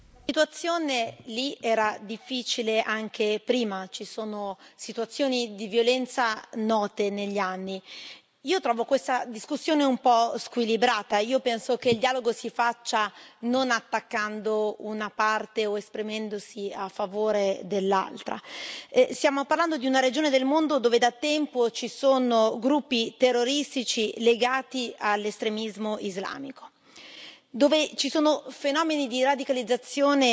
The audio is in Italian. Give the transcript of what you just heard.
Signor Presidente, onorevoli colleghi, la situazione in Kashmir era difficile anche prima, ci sono situazioni di violenza note negli anni. Trovo questa discussione un po' squilibrata penso che il dialogo si faccia non attaccando una parte o esprimendosi a favore dell'altra. Stiamo parlando di una regione del mondo dove da tempo ci sono gruppi terroristici legati all'estremismo islamico, dove ci sono fenomeni di radicalizzazione